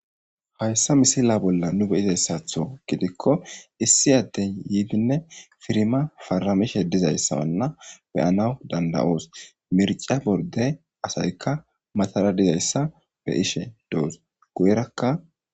hayssa misila bolla nu beyizayssatho gidikko issi addey yiidinne firma faramishe dizayssawanna beyanaw danda'oos mirca borde asaykka matara dizayssa be'ishe doos guyirakka